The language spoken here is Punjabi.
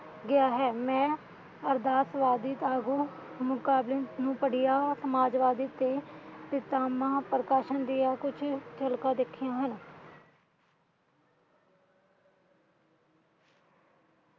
ਗਿਆ ਹੈ ਮੈਂ ਅਰਦਾਸ ਵਦੀਦ ਆਗੂ ਮੁਕਾਬਿਲ ਨੂੰ ਪੜ੍ਹੀਆਂ ਸਮਾਜਵਾਦੀ ਤੇ ਸਿਤਾਮਾ